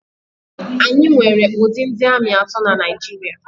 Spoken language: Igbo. Anyị nwere ụdị ndị ami atọ na Naịjirịa.